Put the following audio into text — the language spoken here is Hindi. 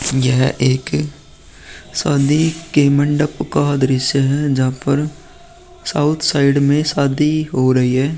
यह एक शादी के मंडप का दृश्य है जहाँ पर साउथ साइड में शादी हो रही है।